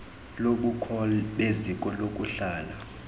lobukho beziko lokuhlala